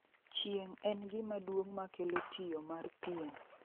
Chieng' en gima duong' ma kelo tiyo mar pien